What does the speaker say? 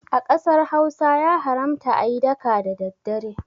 A ƙasar Hausa ya haramta ayi daka da daddare